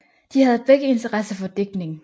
De havde begge interesse for digtning